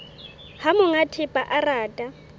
ha monga thepa a rata